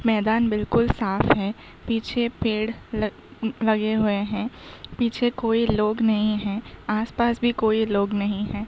मैदान बिल्कुल साफ है। पीछे पेड़ लगे हुए हैं। पीछे कोई लोग नहीं हैं। आस-पास भी कोई लोग नहीं हैं।